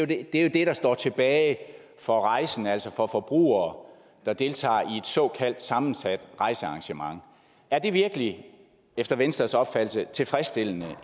det er jo det der står tilbage for rejsende altså for forbrugere der deltager i et såkaldt sammensat rejsearrangement er det virkelig efter venstres opfattelse en tilfredsstillende